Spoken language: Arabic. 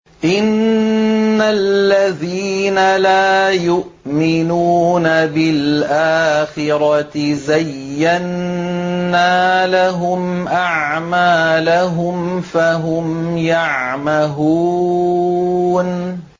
إِنَّ الَّذِينَ لَا يُؤْمِنُونَ بِالْآخِرَةِ زَيَّنَّا لَهُمْ أَعْمَالَهُمْ فَهُمْ يَعْمَهُونَ